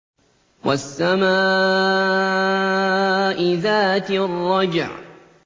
وَالسَّمَاءِ ذَاتِ الرَّجْعِ